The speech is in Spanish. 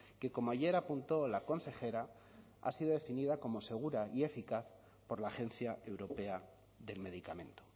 que como ayer apuntó la consejera ha sido definida como segura y eficaz por la agencia europea del medicamento